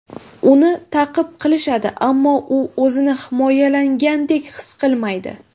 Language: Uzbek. Uni ta’qib qilishadi, ammo u o‘zini himoyalangandek his qilmaydi.